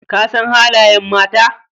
Ka san halayen mata?